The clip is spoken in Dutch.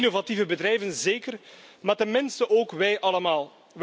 Die innovatieve bedrijven, zeker, maar ten minste ook wij allemaal.